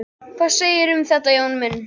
Hvað segirðu um þetta, Jón minn?